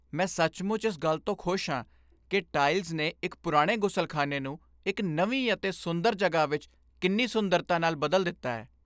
ਮੈਂ ਸੱਚਮੁੱਚ ਇਸ ਗੱਲ ਤੋਂ ਖੁਸ਼ ਹਾਂ ਕਿ ਟਾਇਲਸ ਨੇ ਇੱਕ ਪੁਰਾਣੇ ਗ਼ੁਸਲਖ਼ਾਨੇ ਨੂੰ ਇੱਕ ਨਵੀ ਅਤੇ ਸੁੰਦਰ ਜਗ੍ਹਾ ਵਿੱਚ ਕਿੰਨੀ ਸੁੰਦਰਤਾ ਨਾਲ ਬਦਲ ਦਿੱਤਾ ਹੈ।